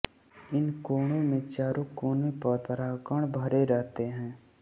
इन कोणों में चारों कोने पर परागकण भरे रहते हैं